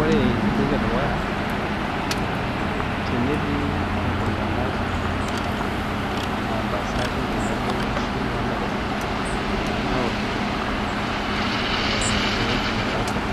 Ore entoki edukuya teneti iletung'anak aa ntasati tenebo onkishu ontare naokito ewueji nelakua